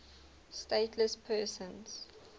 stateless persons